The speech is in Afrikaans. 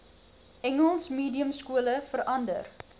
engels mediumskole verander